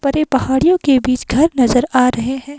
बरे पहाड़ियों के बीच घर नजर आ रहे हैं।